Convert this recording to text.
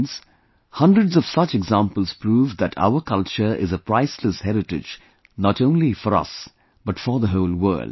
Friends, hundreds of such examples prove that our culture is a priceless heritage not only for us, but for the whole world